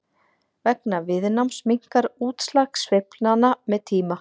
vegna viðnáms minnkar útslag sveiflnanna með tíma